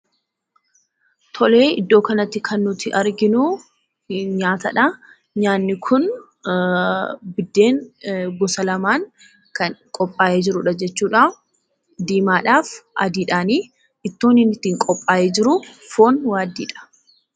Tolee, iddoo kanatti kan nuti arginu, nyaatadhaa. Nyaanni kun biddeen gosa lamaan kan qophaa'ee jirudha jechuudha. Diimaadhaaf adiidhaani. Ittoon inni ittiin qophaa'e jiruu foon waaddiidha.